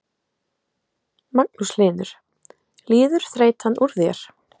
Magnús Hlynur: Líður þreytan úr þér?